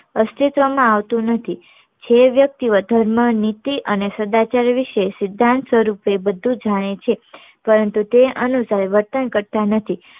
અસ્તિત્વ માં આવતું નથી એ વ્યક્તિ ધર્મ નીતિ અને સદાચાર્ય વિશે સિધાંત સ્વરૂપે બધું જાણે છે પરંતુ એ અનુસાર વર્તન કરતા નથી